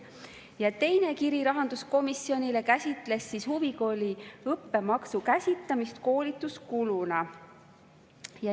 Ja teine kiri rahanduskomisjonile käsitles huvikooli õppemaksu käsitamist koolituskuluna.